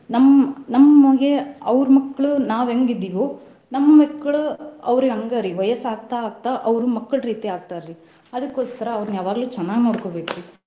ನಮ್ಮ ನಮ್ಗೆ ಅವ್ರ ಮಕ್ಳು ನಾವ್ ಹೆಂಗ್ ಇದೀವೋ ನಮ್ಮ ಮಕ್ಳು ಅವ್ರಿಗೆ ಹಂಗರಿ ವಯಸ್ ಆಗ್ತಾ ಆಗ್ತಾ ಅವ್ರು ಮಕ್ಳ್ ರೀತಿ ಆಗ್ತಾರಿ ಅದಕೋಸ್ಕರಾ ಅವ್ನ್ರ ಯಾವಾಗ್ಲು ಚನ್ನಾಗ್ ನೋಡ್ಕೊಬೇಕ್ರಿ .